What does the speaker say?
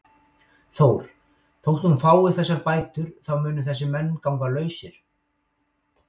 Þór: Þótt hún fái þessar bætur þá munu þessir menn ganga lausir?